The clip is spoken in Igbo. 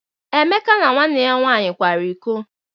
Emeka na nwanne ya nwaanyị kwara iko.